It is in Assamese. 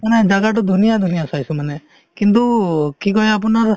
মানে জাগাতো ধুনীয়া ধুনীয়া চাইছো মানে কিন্তু কি কই আপোনাৰ